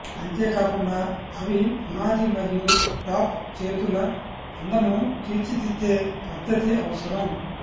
అంతేకాకుండా అవి పునాది మరియు టాప్ చేతుల అందమును తీర్చిదిద్దే పద్ధతి అవసరం